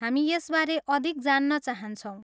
हामी यसबारे अधिक जान्न चाहन्छौँ।